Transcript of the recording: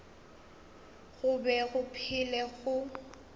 go be go phela go